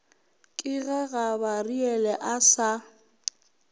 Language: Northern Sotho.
ke ge gabariele a sa